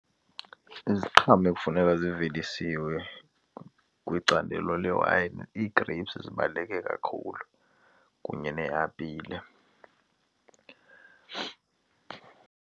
Iziqhamo ekufuneka zivelisiwe kwicandelo lewayini, ii-grapes zibaluleke kakhulu kunye neeapile.